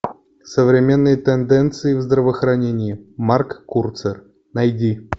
современные тенденции в здравоохранении марк курцер найди